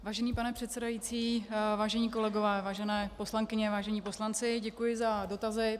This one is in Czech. Vážený pane předsedající, vážení kolegové, vážené poslankyně, vážení poslanci, děkuji za dotazy.